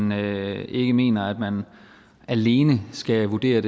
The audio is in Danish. man ikke mener at man alene skal vurdere